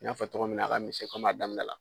I n'a fɔ cogo min na a ka misɛn komi a daminɛ la.